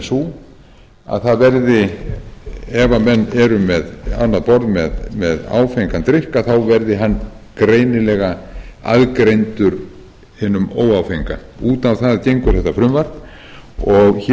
sú að ef menn eru á annað borð með áfengan drykk þá verði hann greinilega aðgreindur hinum óáfenga út á það gengur þetta frumvarp í greinargerð með